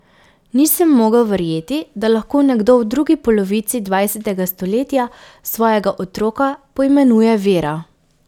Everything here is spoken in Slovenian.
Nisem mogel verjeti, da lahko nekdo v drugi polovici dvajsetega stoletja svojega otroka poimenuje Vera.